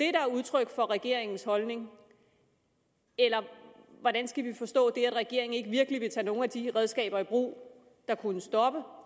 er udtryk for regeringens holdning eller hvordan skal vi forstå at regeringen ikke virkelig vil tage nogle af de redskaber i brug der kunne stoppe